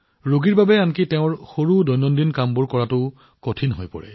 ৰোগীৰ বাবে দৈনন্দিন জীৱনৰ সৰু কামবোৰ কৰাটো কঠিন হৈ পৰে